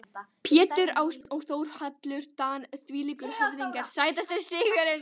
Pétur Ásbjörn og Þórhallur Dan þvílíkir höfðingjar Sætasti sigurinn?